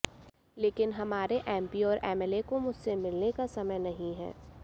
लेकिन हमारे एमपी और एमएलए को मुझसे मिलने का समय नहीं है